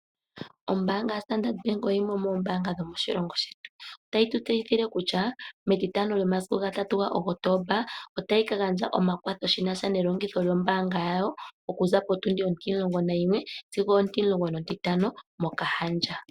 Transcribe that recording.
Ombaanga yaStandard Bank oyo yimwe yomoombaanga dhomoshilongo shetu. Otayi tu tseyithile kutya, metitano lyomasiku ga 03 Kotomba ,otayi ka gandja omakwatho shinasha nelongitho lyombaanga yawo ,okuza potundi ontimulongo nayimwe sigo ontimulongo nontitano, moKahandja.